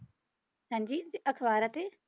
ਹਾਂਜੀ ਤੇ ਅਖ਼ਬਾਰਾਂ ਤੇ?